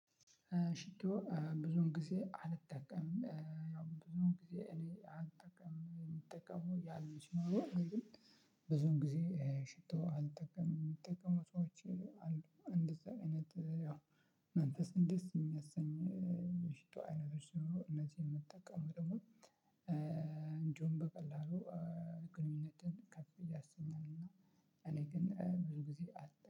ሽቶ ብዙውን ጊዜ አልጠቀምም ያው ብዙውን ጊዜ እኔ አልጠቀምም የምጠቀመው ያለምንም ብዙን ጊዜ ሽቶ አልጠቀምም የሚጠቀሙ ሰዎች አሉ። እንደዛ አይነት ያው መንፈስ እንዴት የሚያሰኝ የፊቷ አይነቶች ነው እነዚህ የምትጠቀሙ ደግሞ እንዲውም በቀላሉ ግንኙነትን ከፍ እያሰኛል እና እኔ ግን ብዙ ጊዜ